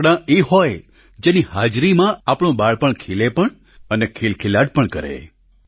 રમકડાં એ હોય જેની હાજરીમાં આપણું બાળપણ ખીલે પણ અને ખિલખિલાટ પણ કરે